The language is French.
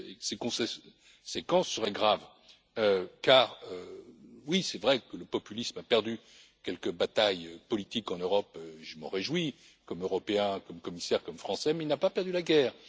Ces conséquences seraient graves car, oui, il est vrai que le populisme a perdu quelques batailles politiques en Europe je m'en réjouis comme Européen, comme commissaire et comme Français mais il n'a pas perdu la guerre.